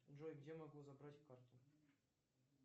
джой где могу забрать карту